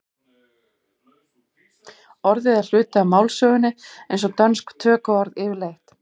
orðið er hluti af málsögunni eins og dönsk tökuorð yfirleitt